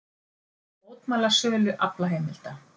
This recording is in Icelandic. Mótmæla sölu aflaheimilda